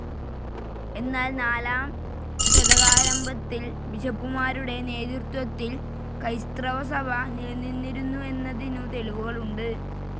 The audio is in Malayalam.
എന്നാൽ നാലാം ശതകാരംഭത്തിൽ ബിഷപ്പുമാരുടെ നേതൃത്വത്തിൽ ക്രൈസ്തവസഭ നിലവിലിരുന്നു എന്നതിനു തെളിവുകളുണ്ട്.